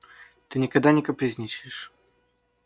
ты никогда не капризничаешь